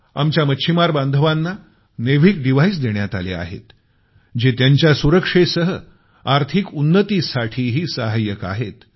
आमच्या मच्छिमार बांधवांना नेविक डिव्हाईस देण्यात आले आहेत जे त्यांच्या सुरक्षेसह आर्थिक उन्नतीसाठीही सहाय्यक आहेत